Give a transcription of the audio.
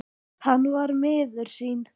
Hann var miður sín.